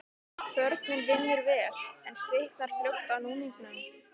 Kvörnin vinnur vel, en slitnar fljótt af núningnum.